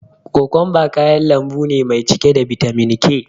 Kokumba kayan lambu ne mai cike da bitamin K.